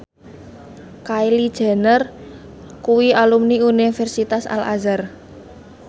Kylie Jenner kuwi alumni Universitas Al Azhar